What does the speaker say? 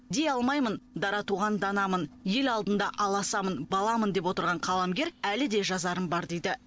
дей алмаймын дара туған данамын ел алдында аласамын баламын деп отырған қаламгер әлі де жазарым бар дейді